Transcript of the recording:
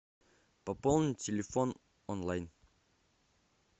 пополнить телефон онлайн